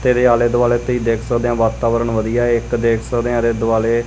ਤੇ ਇਹਦੇ ਆਲੇ ਦੁਆਲੇ ਤੁਸੀਂ ਦੇਖ ਸਕਦੇ ਹੋ ਵਾਤਾਵਰਨ ਵਧੀਆ ਇੱਕ ਦੇਖ ਸਕਦੇ ਆ ਇਹਦੇ ਦੁਆਲੇ--